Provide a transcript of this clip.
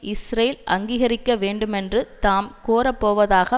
Israel அங்கீகரிக்க வேண்டுமென்று தாம் கோரப்போவதாக